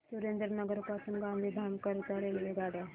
सुरेंद्रनगर पासून गांधीधाम करीता रेल्वेगाड्या